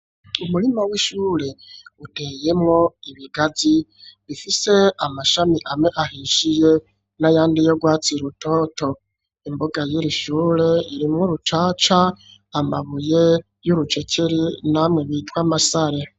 umurima w'ishure uteyemwo ibigazi bifise amashami amwe ahishiye n'ayandi y,ugwatsi rutoto, imboga y,irishure irimwo rucaca, amabuye y'urucekeri namwe bitwa amasare.